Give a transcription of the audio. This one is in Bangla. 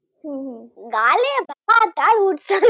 গালে